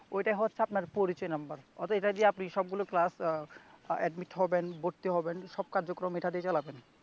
ঐটা হচ্ছে আপনার পরিচয় নাম্বার অর্থাৎ এটা দিয়ে আপনি সবগুলা ক্লাস আহ এডমিট হবেন ভর্তি হবেন সব কার্যক্রম এটা দিয়েই চালাবেন